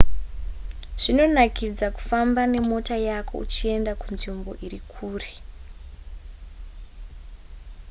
zvinonakidza kufamba nemota yako uchienda kunzvimbo iri kure